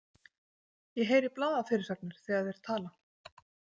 Ég heyri blaðafyrirsagnir þegar þeir tala.